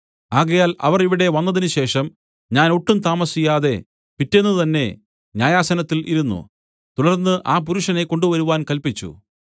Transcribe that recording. ആകയാൽ അവർ ഇവിടെ വന്നതിന് ശേഷം ഞാൻ ഒട്ടും താമസിയാതെ പിറ്റെന്ന് തന്നെ ന്യായാസനത്തിൽ ഇരുന്നു തുടർന്ന് ആ പുരുഷനെ കൊണ്ടുവരുവാൻ കല്പിച്ചു